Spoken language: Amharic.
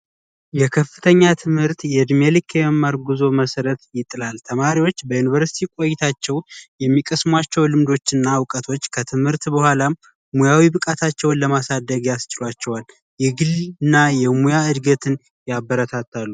የከፍተኛ ትምህርት የዕድሜ ልክ የመማር ጉዞ መሰረት ይጥላል። ተማሪዎች በዩኒቨርስቲ ቆይታቸው ውስጥ የሚቀስሟቸው ልምዶች እና እውቀቶች ከትምህርት በኋላም ሙያዊ መብቃታቸውን ለማሳደግ ያስችሏቸዋል። የግል እና የሙያ እድገትን ያበረታታሉ።